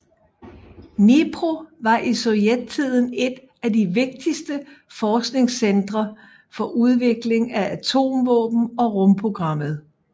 Dnipro var i sovjettiden et af de vigtigste forskningscentre for udvikling af atomvåben og rumprogrammet